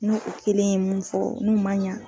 N'o kelen ye mun fɔ n'u man ɲa